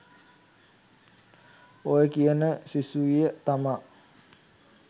ඔය කියන සිසුවිය තමා